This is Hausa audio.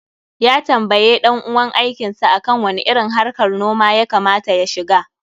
Ya tambaye ɗan uwan aikin sa akan wani irin harkar noma ya kama ta ya shiga.